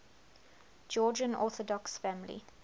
georgian orthodox family